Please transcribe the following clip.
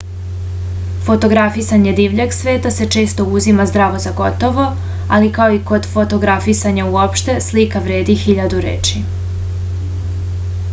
fotografisanje divljeg sveta se često uzima zdravo za gotovo ali kao i kod fotografisanja uopšte slika vredi hiljadu reči